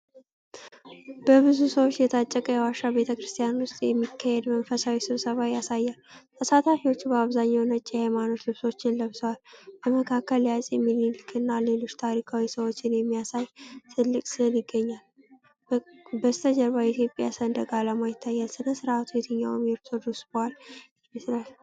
በብዙ ሰዎች የታጨቀ የዋሻ ቤተክርስቲያን ውስጥ የሚካሄድ መንፈሳዊ ስብሰባ ያሳያል። ተሳታፊዎቹ በአብዛኛው ነጭ የሃይማኖት ልብሶችን ለብሰዋል። በመካከል የአፄ ምኒልክን እና ሌሎች ታሪካዊ ሰዎችን የሚያሳይ ትልቅ ስዕል ይገኛል። በስተጀርባ የኢትዮጵያ ሰንደቅ ዓላማ ይታያል። ሥነ ሥርዓቱ የትኛውን የኦርቶዶክስ በዓል ይመስላል?